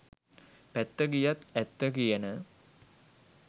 පැත්ත ගියත් ඇත්ත කියන